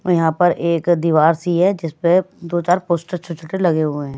और यहाँ पर एक दीवार सी है जिस पर दो चार पोस्टर छोटे-छोटे लगे हुए हैं।